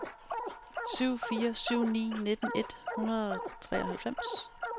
syv fire syv ni nitten et hundrede og treoghalvfems